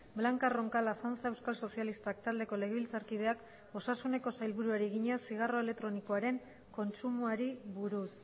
blanca roncal azanza euskal sozialistak taldeko legebiltzarkideak osasuneko sailburuari egina zigarro elektronikoaren kontsumoari buruz